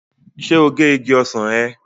Ṣé o gé igi ọsàn ẹ?